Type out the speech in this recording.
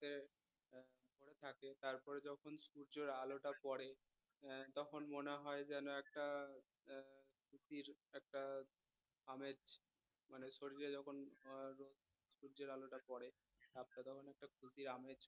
সূর্যের আলোটা পরে আহ তখন মনে হয় যেন একটা আহ ফুর্তির একটা আমেজ মানে শরীলে যখন আহ সূর্যের আলোটা পরে তখন একটা ফুর্তির আমেজ